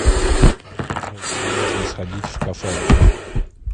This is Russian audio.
джой куда можно сходить в кафе